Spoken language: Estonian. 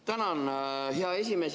Tänan, hea esimees!